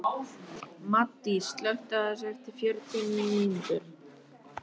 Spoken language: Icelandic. Maddý, slökktu á þessu eftir fjörutíu og níu mínútur.